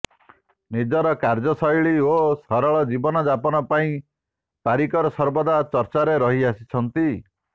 ନିଜର କାର୍ଯ୍ୟଶୈଳୀ ଓ ସରଳ ଜୀବନ ଯାପନ ପାଇଁ ପାରିକର ସର୍ବଦା ଚର୍ଚ୍ଚାରେ ରହି ଆସିଛନ୍ତି